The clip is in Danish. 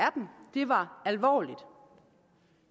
dem var alvorlige